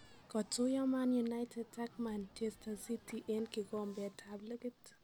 Kotuyo Man United ak Manchester city en kikombeetab likit